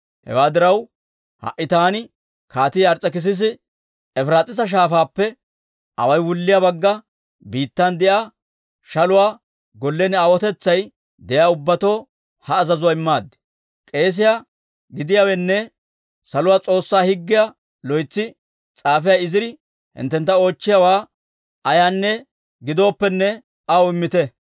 «Hewaa diraw, ha"i taani Kaatii Ars's'ekissisi Efiraas'iisa Shaafaappe away wulliyaa Bagga Biittan de'iyaa shaluwaa gollen aawotetsay de'iyaa ubbatoo ha azazuwaa immaad. K'eesiyaa gidiyaanne Saluwaa S'oossaa Higgiyaa loytsi s'aafiyaa Iziri hinttentta oochchiyaawaa ayaanne giddooppene aw immite.